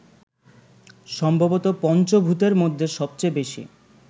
সম্ভবত পঞ্চভূতের মধ্যে সবচেয়ে বেশি